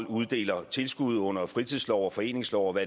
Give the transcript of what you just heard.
uddeler tilskud under fritidsloven og foreningsloven og